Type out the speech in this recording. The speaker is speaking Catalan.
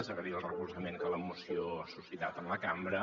agrair el recolzament que la moció ha suscitat en la cambra